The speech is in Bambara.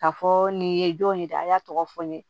K'a fɔ nin ye jɔn ye dɛ a y'a tɔgɔ fɔ n ye